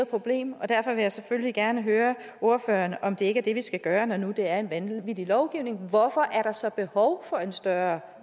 problem og derfor vil jeg selvfølgelig gerne høre ordføreren om det ikke er det vi skal gøre når nu det er en vanvittig lovgivning hvorfor er der så behov for en større